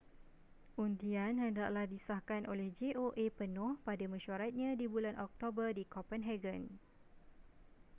undian hendaklah disahkan oleh joa penuh pada mesyuaratnya di bulan oktober di copenhagen